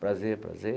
Prazer, prazer.